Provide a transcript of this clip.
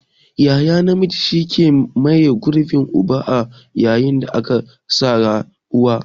Yaya namiji shi ke maye gurbin uba a yayin da aka rasa uba.